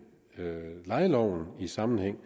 lejeloven i sammenhæng